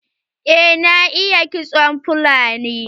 Eh na iya kitson fulani.